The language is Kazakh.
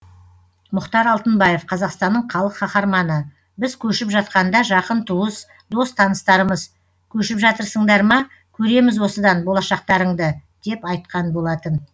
мұхтар алтынбаев қазақстанның халық қаһарманы біз көшіп жатқанда жақын туыс дос таныстарымыз көшіп жатырсыңдар ма көреміз осыдан болашақтарыңды деп айтқан болатын